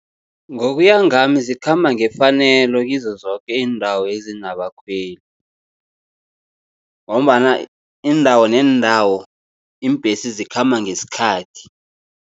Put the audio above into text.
Ngokuya ngami zikhamba ngefanelo kizo zoke iindawo ezinabakhweli, ngombana iindawo neendawo iimbhesi zikhamba ngesikhathi.